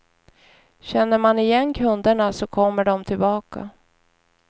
Känner man igen kunderna så kommer de tillbaka.